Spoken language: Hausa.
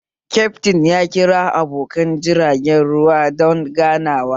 Kyaftin ya kira abokan jirgin ruwan don ganawa